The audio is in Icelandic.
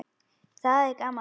Það er gaman.